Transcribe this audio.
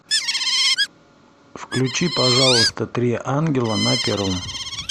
включи пожалуйста три ангела на первом